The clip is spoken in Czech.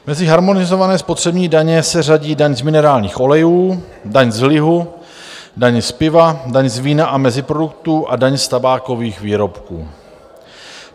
Mezi harmonizované spotřební daně se řadí daň z minerálních olejů, daň z lihu, daň z piva, daň z vína a meziproduktů a daň z tabákových výrobků.